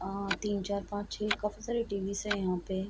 अ तीन चार पाँच छे काफी सारी टी.बी. स हैं यहाँ पे।